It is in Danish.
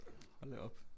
Hol da op